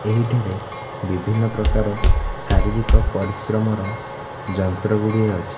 ଏହି ଠାରେ ବିଭିନ୍ନ ପ୍ରକାର ଶାରୀରିକ ପରିଶ୍ରମର ଯନ୍ତ୍ର ଗୁଡ଼ିଏ ଅଛି।